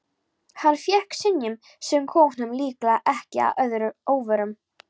Hann fékk synjun, sem kom honum líklega ekki að óvörum.